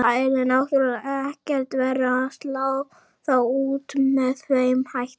Það yrði náttúrulega ekkert verra að slá þá út með þeim hætti.